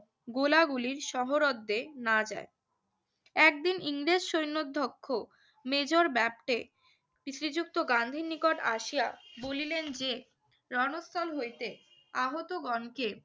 গোলাগুলির সহরদ্দে না যায়। একদিন ইংরেজ সৈন্যধ্যক্ষ মেজর ব্যাপটে শ্রীযুক্ত গান্ধীর নিকট আসিয়া বলিলেন যে, রণস্থল হইতে আহতগণকে